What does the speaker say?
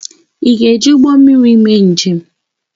Ị ga-eji ụgbọ mmiri mee njem?